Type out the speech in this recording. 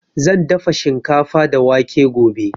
Zan dafa shikafa da wake gobe.